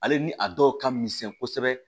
Ale ni a dɔw ka misɛn kosɛbɛ